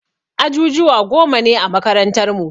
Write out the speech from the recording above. Ajujuwa goma ne a makarantar mu.